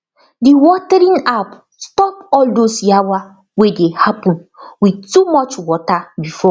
the watering app stop all those yawa wey dey happen with too much water before